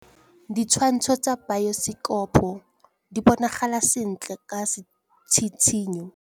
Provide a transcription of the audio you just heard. Ditshwantshô tsa biosekopo di bonagala sentle ka tshitshinyô.